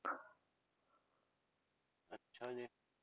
ਅੱਛਾ ਜੀ